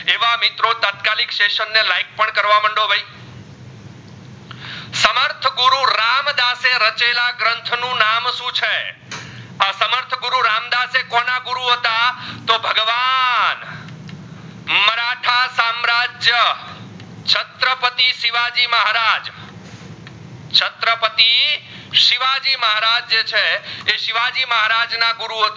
રાજ ના ગુરુ હતા